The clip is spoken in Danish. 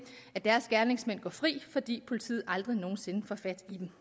at deres gerningsmænd går fri fordi politiet aldrig nogen sinde får fat i dem